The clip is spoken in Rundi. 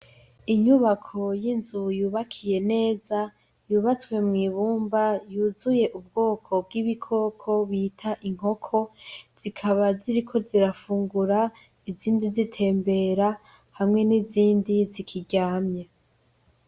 Inyubako y'inzu yubakiye neza, yubatswe mw'ibumba ,yuzuye ubwoko bw'ibikoko bita inkoko zikaba ziriko zirafungura, izindi zitembera hamwe n'izindi zikiryamye.